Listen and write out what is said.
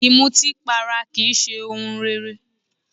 Ìmutípara kì í ṣe ohun rere